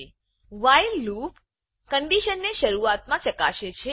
એ while loop while loop condition ને શરૂઆત માં ચકાસે છે